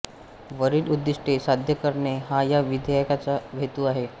वरील उद्दिष्टे साध्य करणे हा या विधेयकाचा हेतु आहे